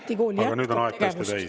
Hiiumaa Ametikool jätkab tegevust.